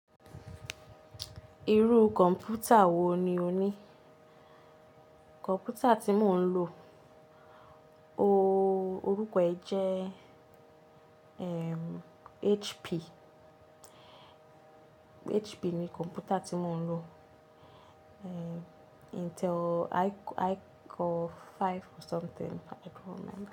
Irú kọ̀mpútà wo ni o ní? Kọ̀mpútà tí mo ń lò, orúkọ rẹ̀ jẹ́ ehm, HP. HP ni kọ̀mpútà tí mo ń lò. Ehm, Intel i-- iCore 5 or something, but i don't remember.